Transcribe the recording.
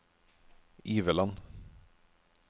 Iveland